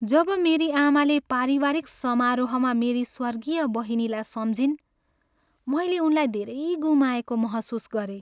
जब मेरी आमाले पारिवारिक समारोहमा मेरी स्वर्गीय बहिनीलाई सम्झिन्, मैले उनलाई धेरै गुमाएको महसुस गरेँ।